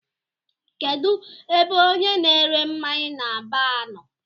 Kedụ ebe ọnye na -ere mmáñyá n'baar nọ?